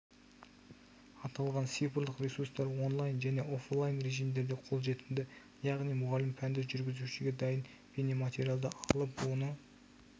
аталған цифрлық ресурстар онлайн және оффлайн режимдерде қолжетімді яғни мұғалім пәнді жүргізуші дайын бейнематериалды алып оны